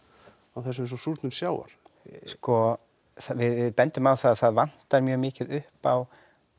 þessu eins og súrnun sjávar sko við bendum á það að það vantar mjög mikið upp á